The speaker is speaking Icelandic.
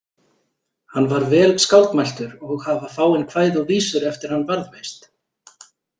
Hann var vel skáldmæltur og hafa fáein kvæði og vísur eftir hann varðveist.